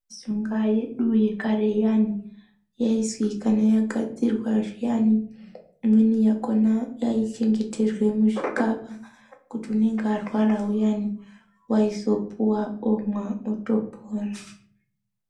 Mishonga yedu yekare iyani yaizikanwa yagadzirwa zviyani imweni yakona yaichengeterwa muzvixaba kuti unenge arwara uyani waizopuwa omwa otopora